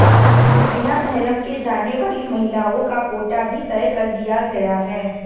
बिना मेहरम के जाने वाली महिलाओं का कोटा भी तय कर दिया गया है